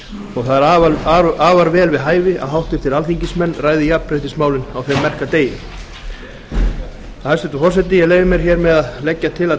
og það er afar vel við hæfi að háttvirtir alþingismenn ræði jafnréttismálin á þeim merka degi hæstvirtur forseti ég leyfi mér að leggja til að